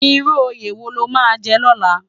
Irú óyé wó ló má jè lòlá?